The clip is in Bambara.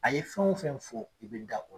A ye fɛn o fɛn fɔ i bɛ da o la.